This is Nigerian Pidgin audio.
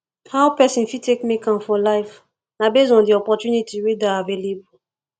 how person fit take make am for life na based on di opportunity wey dey available